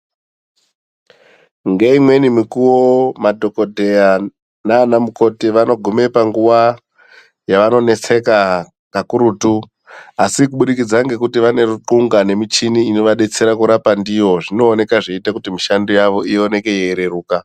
Ngeimweni mikuwo, madhokodheya nanamukoti vanogume panguwa yavanonetseka kakurutu, asi kuburikidza ngekuti vane ruxunga nemichini inovabetsera kurapa ndiyo, zvinooneka zveiite kuti mishando yavo ioneke yeireruka.